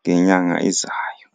ngenyanga ezayo.